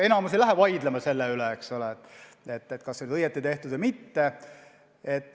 Enamik ei lähe vaidlema selle üle, kas on õigesti tehtud pilt või mitte.